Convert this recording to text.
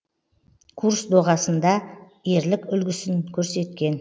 курс доғасында ерлік үлгісін көрсеткен